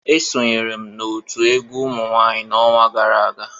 Esonyere m otu egwu umunwanyị n'ọnwa gara aga